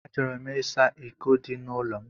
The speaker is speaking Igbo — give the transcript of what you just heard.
Achọrọ m ịsa iko dị n'ụlọ m.